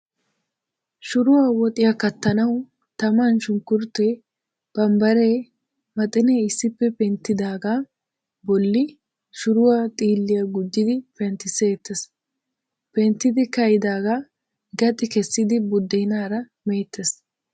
Shuruwaa woxiyaa kattanawu taman shunkkurttee, bambbaree, maxinee issippe penttidaagaa bolli shuruwaa xiilliyaa gujjidi penttisseettees. Penttidi ka'idaagaa gaxi kessidi buddeenaara meettes.